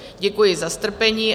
Děkuji za strpení.